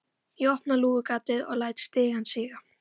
Ég opna lúgugatið og læt stigann síga.